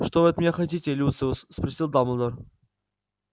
что вы от меня хотите люциус спросил дамблдор